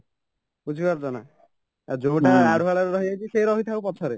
ବୁଝିପାରୁଛ ନା ଯୋଉଟା ଆଢୁଆଳରେ ରହିଯାଇଛି ସେ ରହିଥାଉ ପଛରେ